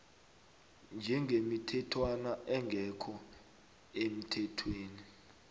njengemithetjhwana engekho emthethweni